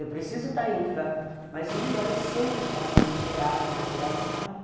Eu preciso da infra, mas o melhor é eu sei onde está sendo gerado o material agora.